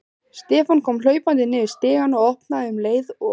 Stefán kom hlaupandi niður stigann og opnaði um leið og